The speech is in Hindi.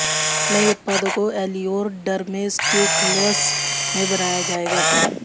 नए उत्पादों को एलियोर डर्मेस्युटिकल्स में बनाया जाएगा